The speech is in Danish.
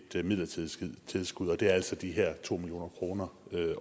det midlertidige tilskud og det er altså de her to million kroner